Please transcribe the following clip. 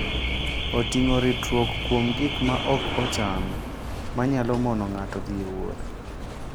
Oting'o ritruok kuom gik ma ok ochan ma nyalo mono ng'ato dhi e wuoth.